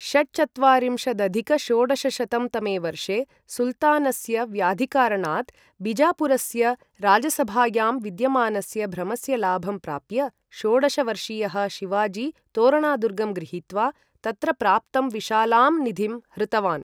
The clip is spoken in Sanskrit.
षट्चत्वारिंशदधिक षोडशशतं तमे वर्षे,, सुल्तानस्य व्याधिकारणात्, बिजापुरस्य राजसभायां विद्यमानस्य भ्रमस्य लाभं प्राप्य, षोडश वर्षीयः शिवाजी तोरणादुर्गं गृहीत्वा, तत्र प्राप्तं विशालां निधिं हृतवान्।